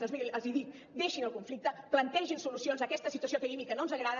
doncs miri els dic deixin el conflicte plantegin solucions a aquesta situació que vivim i que no ens agrada